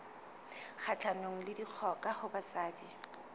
kgahlanong le dikgoka ho basadi